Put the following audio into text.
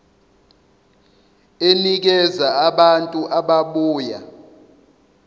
enikeza abantu ababuya